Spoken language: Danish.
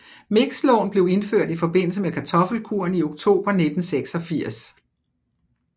Mixlån blev indført i forbindelse med kartoffelkuren i oktober 1986